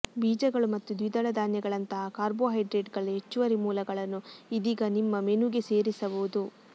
ಬೀಜಗಳು ಮತ್ತು ದ್ವಿದಳ ಧಾನ್ಯಗಳಂತಹ ಕಾರ್ಬೋಹೈಡ್ರೇಟ್ಗಳ ಹೆಚ್ಚುವರಿ ಮೂಲಗಳನ್ನು ಇದೀಗ ನಿಮ್ಮ ಮೆನುಗೆ ಸೇರಿಸಬಹುದು